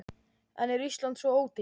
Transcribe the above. En er Ísland svo ódýrt?